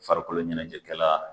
Farikolo ɲɛnajɛkɛla